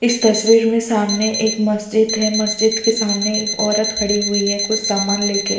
इस तस्वीर में सामने एक मस्जिद है मस्जिद के सामने औरत खड़ी हुई है कुछ सामान लेकर--